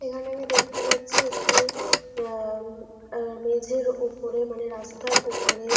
এখানে আমি দেখতে পাচ্ছি একটি আহ উম আহ মেঝের উপরে মানে রাস্তার উপরে--